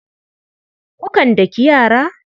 Kukan daki yara?